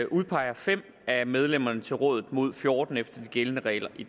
udpeger fem af medlemmerne til rådet mod fjorten efter de gældende regler i